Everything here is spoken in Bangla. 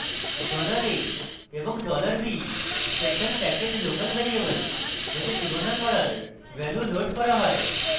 dollar a এবং dollar b special package local variable যাতে তুলনা করার ভ্যালু লোড করা হয়